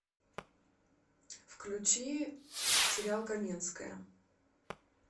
включи сериал каменская